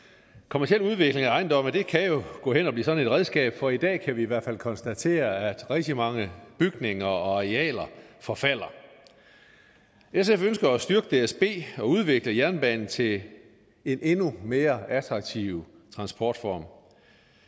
kommerciel udvikling af ejendomme kan jo gå hen og blive sådan et redskab for i dag kan vi i hvert fald konstatere at rigtig mange bygninger og arealer forfalder sf ønsker at styrke dsb og udvikle jernbanen til en endnu mere attraktiv transportform